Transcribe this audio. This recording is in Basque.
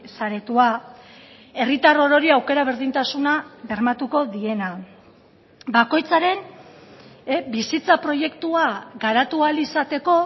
saretua herritar orori aukera berdintasuna bermatuko diena bakoitzaren bizitza proiektua garatu ahal izateko